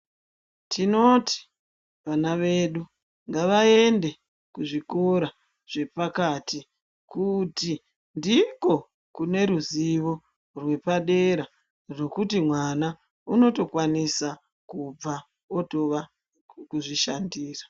Tinoti vana wedu ngawaende kuzvikora zvepakati kuti ndiko kune ruzivo rwepadera rwokuti mwana unotokwanisa kubva otova kuzvishandira.